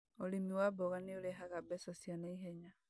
ũrĩmi wa mboga nĩũrehaga mbeca cia naihenya